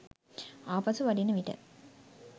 ආපසු වඩින විට